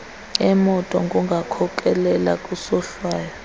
emoto kungakhokhelela kwisohlwayo